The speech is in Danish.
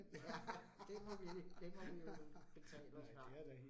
Ja, det må vi, det må vi jo betale os fra